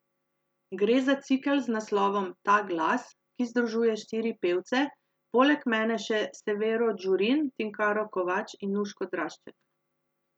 Gre za cikel z naslovom Ta glas, ki združuje štiri pevce, poleg mene še Severo Gjurin, Tinkaro Kovač in Nuško Drašček.